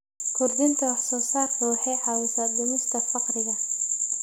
Kordhinta wax soo saarka waxay caawisaa dhimista faqriga.